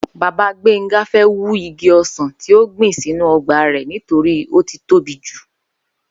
Bàbá Gbénga fé̩ wú igi o̩sàn tí ó gbìn sínú o̩gbà rè̩ nítorí ó ti tóbi jù